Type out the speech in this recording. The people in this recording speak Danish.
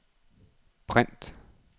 print